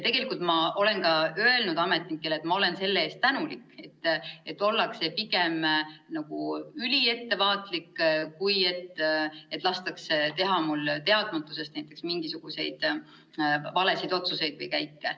Tegelikult ma olen ka ametnikele öelnud: ma olen selle eest tänulik, et ollakse pigem üliettevaatlik kui et lastakse teha mul teadmatusest näiteks mingisuguseid valesid otsuseid või käike.